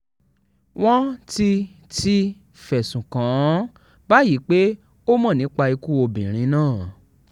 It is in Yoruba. wọ́n ti ti fẹ̀sùn kàn án báyìí pé ó mọ̀ nípa ikú obìnrin náà